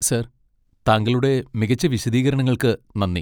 Sir, താങ്കളുടെ മികച്ച വിശദീകരണങ്ങൾക്ക് നന്ദി.